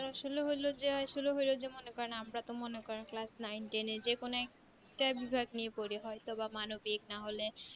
আসলে হলো যে আসলে হলো যে মন আমার তো মনে করেন class nine ten এ যেকোনো একটা বিভাগ নিয়ে পড়ে হয়তো বা মানবিক নাহলে